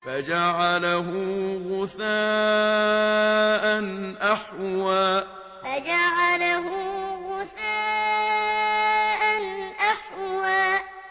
فَجَعَلَهُ غُثَاءً أَحْوَىٰ فَجَعَلَهُ غُثَاءً أَحْوَىٰ